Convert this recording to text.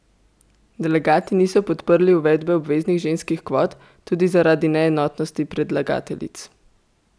Delegati niso podprli uvedbe obveznih ženskih kvot, tudi zaradi neenotnosti predlagateljic.